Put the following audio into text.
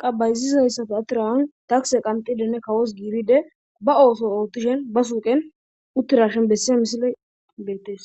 qabayzizayssafe atiraan takse qantidenne kawos giibide ba ooso oottishen ba suuqen uttirashen bessiya misile beettees